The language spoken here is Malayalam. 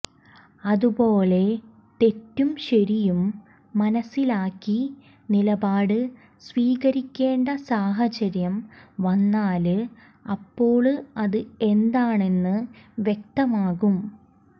അതുപോലെ തെറ്റും ശരിയും മനസിലാക്കി നിലപാട് സ്വീകരിക്കേണ്ട സാഹചര്യം വന്നാല് അപ്പോള് അത് എന്താണെന്ന് വ്യക്തമാക്കും